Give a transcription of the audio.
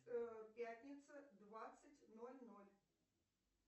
пятница двадцать ноль ноль